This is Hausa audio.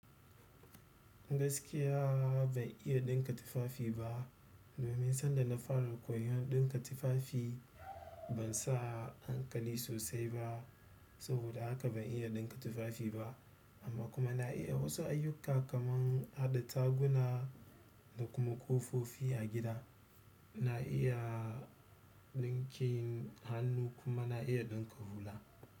Gaskiya ban iya ɗinka tufafi ba. Domin sanda na fara koyan ɗinka tufafi ban sa hankali sosai ba. Saboda haka ban iya ɗinka tufafi ba. Amma kuma na iya wasu ayyuka kamar haɗa taguna da kuma ƙofofi a gida. Na iya ɗinkin hannu kuma na iya ɗinka hula.